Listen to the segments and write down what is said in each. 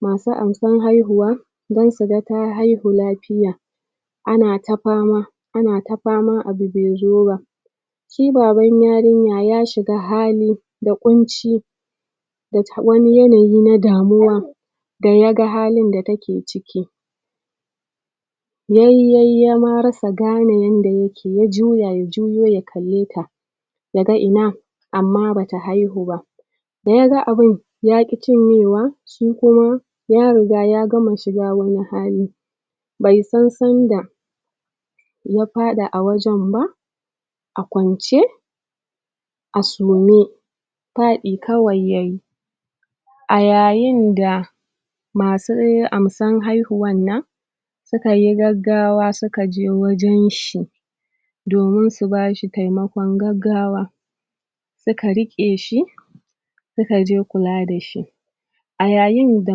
masu amsar haihuwa don su ga ta haihu lafiya ana ta fama ana ta fama abu bai zo ba shi baban yarinya ya shiga halin da ƙunci da wani yanayi na damuwa da ya ga halin da take ciki yai yai ya ma rasa gane yanda yake ya jya ya juyo ya kalleta yaga ina amma bata haihu ba yaga abin yaƙi cinyewa ko kuma ya riga ya gama shiga wani hali bai san sanda ya faɗi a wajen ba a kwance a sume faɗi kwai yayi a yayinda masu amsar haihuwa nan suka yi gaggawa suka je wajen shi domin su bashi taimakon gaggawa suka riƙe shi suka je kula da shi a yayinda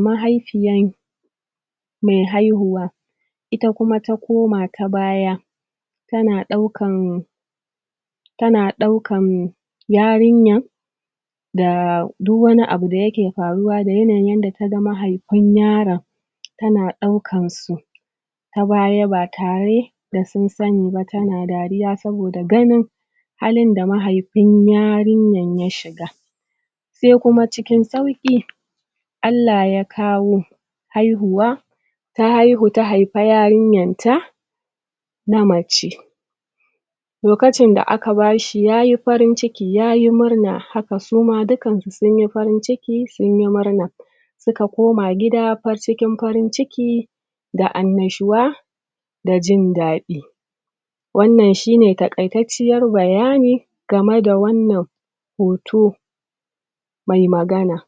mahaifiya me haihuwa ita kuma ta koma ta baya tana ɗaukan tana ɗaukan yarinyar da duk wani abu da yake faruwa da yanayin yanda ta ga mahaifin yaran tana ɗaukansu ta baya ba tare da sun sani ba tana dariya saboda ganin halin da mahaifin yarinyar ya shiga sai cikin sauƙi Allah ya kawo haihuwa ta haihu ta haifi yarinyarta na mace lokacin da aka basa shi yayi farin ciki yayi murna haka su ma dukansu sun yi farin ciki sun yi murna suka koma gida fal cikin farin ciki da annashuwa da jindaɗi wannan shi ne taƙaitacciyar bayani game da wannan hoto mai magana